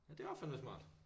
Ja det var fandeme smart